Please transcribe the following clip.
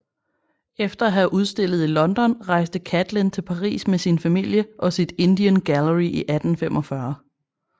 Efter at have udstillet i London rejste Catlin til Paris med sin familie og sit Indian Gallery i 1845